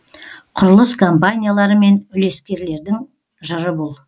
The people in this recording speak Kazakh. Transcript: құрылыс компаниялары мен үлескерлердің жыры бұл